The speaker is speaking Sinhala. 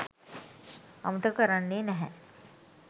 අමතක කරන්නේ නැහැ.